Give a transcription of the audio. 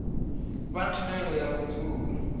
vha na thendelo ya vhudzulo